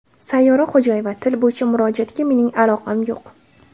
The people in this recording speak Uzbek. Sayyora Xo‘jayeva: Til bo‘yicha murojaatga mening aloqam yo‘q.